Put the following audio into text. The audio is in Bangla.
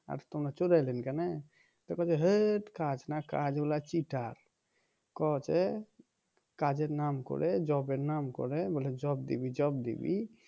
আর তোমরা চলে এলে কেনে বলছে হ্যার কাজ না কাজ ওরা cheater কও যে কাজের নাম করে job এর নাম করে বলে job দিবি job দিবি